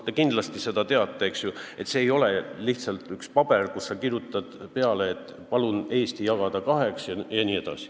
Te kindlasti teate, et see ei ole lihtsalt üks paber, kuhu sa kirjutad, et palun Eesti jagada kaheks regiooniks.